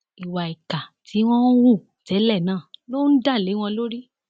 ìwà ìkà tí wọn hù tẹlẹ náà ló ń dá lé wọn lórí